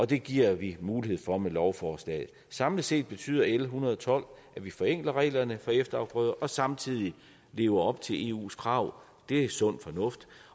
det giver vi mulighed for med lovforslaget samlet set betyder l en hundrede og tolv at vi forenkler reglerne for efterafgrøder og samtidig lever op til eus krav det er sund fornuft